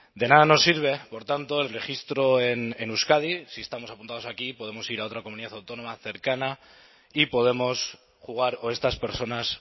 de nada nos sirve por tanto el registro en euskadi si estamos apuntados aquí podemos ir a otra comunidad autónoma cercana y podemos jugar o estas personas